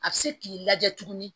A bɛ se k'i lajɛ tuguni